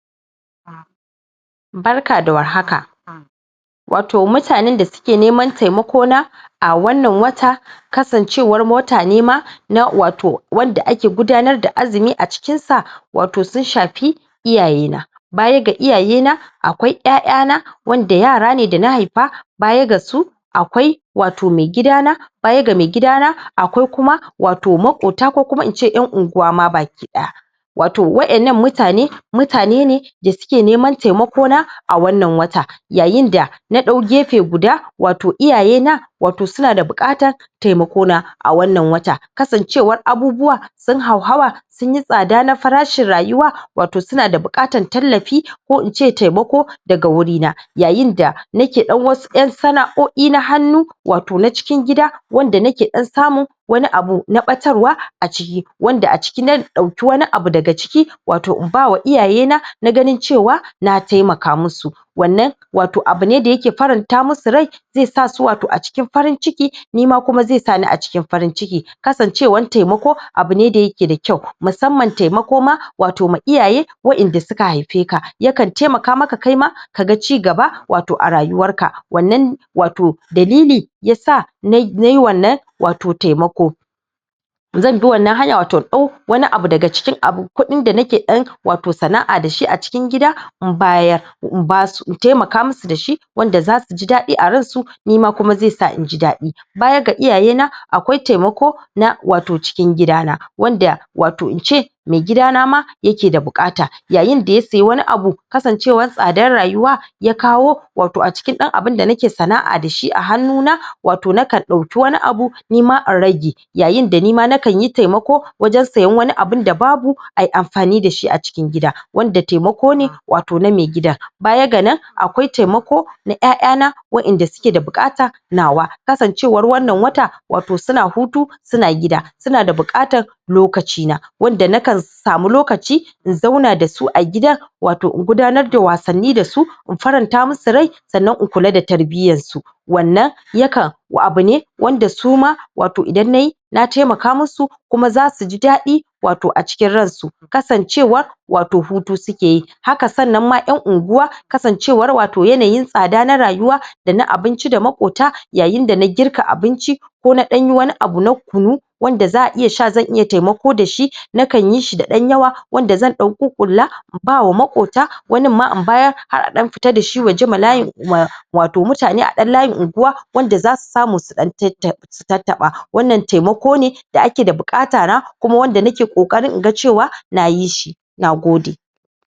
Barka da warhaka wato mutanen da suke neman taimakona a wannan wata, kasancewar wata nema na wato wanda ake gudanar da Azumi a cikin sa. Wato sun shafi iyaye na baya ga iyaye na akwai ƴaƴa na wanda yara ne dana haifa, baya ga su akwai wato me gida na, baya ga megida na akwai kuma wato maƙota na ko kuma ince ƴan unguwa ma baki ɗaya, wato waƴannan mutane mutane ne dasuke neman taimakona a wannan wata yayin da naɗau gefe guda wato iyaye na. Wato suna da buƙatar taimakona a wannan wata kasancewar abubuwa sun hauhawa sunyi tsada na farashin rayuwa wato suna da buƙatar tallafi ko ince taimakona daga guri na yayin da nake wasu ƴan sana"o"i na hannu wato na cikin gida wanda nake ɗan samun wani abu na ɓatarwa a ciki, wanda a ciki na ɗauka wani abu daga ciki wato in bawa iyayena na ganin cewa na taimaka musu wannan wato abune da yake faranta musu rai, zaisa su wato a cikin farinciki nima kuma ze sani a cikin farinciki kasancewar taimako abune da yake da kyau musamman taimako ma wato ma iyaye waƴanda suka haife ka, yakan taimaka maka kaima kaga cigaba wato a rayuwar ka wannan wato dalili yasa nai wannan wato taimako Zanbi wannan hanya wato inɗau wani abu daga cikin abun kuɗin da nake ɗan sanaʼa dashi a cikin gida in bayar in basu in taimaka musu dashi wanda zasuji daɗi a ransu nima kuma zai sa inji daɗi. Baya ga iyayena akwai taimako na wato cikin gida na wanda wato ince megida na ma yake da buƙata yayin da ya siya wani Abu kasancewar tsadar rayuwa ya kawo,, wato acikin ɗan abun da nake sanaʼa dashi a hannu na wato nakan ɗauki wani abu nima in rage Yayin da nima nakanyi taimako wajen siyan wani abu da babu ai amfani dashi a cikin gida, wanda taimako ne wato na maigida baya ga nan akwai taimako na ƴaƴa na waƴanda suke da buƙata nawa kasancewar wannan wata wato suna hutu suna gida suna da buƙatan lokaci na wanda nakan samu lokaci in zauna dasu a gida wato in gudanar da wasanni dasu in faranta musu rai sannan in kula da tarbiyar su, wannan yakan abune wanda suma wato Idan nayi na taimaka musu kuma zasuji daɗi wato a cikin ransu kasancewar wato hutu sukeyi. Haka sannan ma ƴan unguwa kasancewar wato yanayin tsada na rayuwa dana abinci da maƙota yayin dana girka abinci ko na ɗanyi wani abu na kunu wanda zaʼa Iya sha zan Iya taimako dashi, nakan yi shi da ɗan yawa wanda zan ɗan ƙuƙƙulla in bawa makota wani ma in bayar har a ɗan fita da shi waje ma Latin ma wato mutane a ɗan layin unguwa wanda zasu samu su tattaɓa wannan taimako ne da ake da buƙata kuma nake ƙoƙarin naga cewa nayi shi. NAGODE.